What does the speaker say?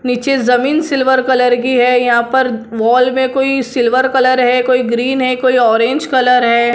नीचे जमीन silver colour की है यहां पर वॉल में कोई सिल्वर कलर है कोई ग्रीन है कोई ऑरेंज कलर है।